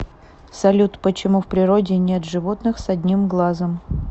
салют почему в природе нет животных с одним глазом